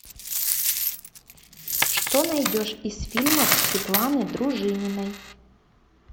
что найдешь из фильмов светланы дружининой